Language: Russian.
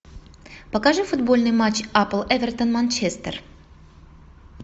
покажи футбольный матч апл эвертон манчестер